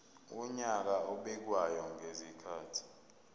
wonyaka obekwayo ngezikhathi